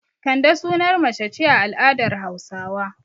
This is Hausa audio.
Kande sunar mace ce a al'adar Hausawa.